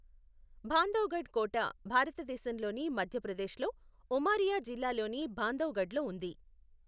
బాంధవ్గఢ్ కోట భారతదేశంలోని మధ్యప్రదేశ్లో ఉమారియా జిల్లాలోని బాంధవ్ఘఢ్ లో ఉంది.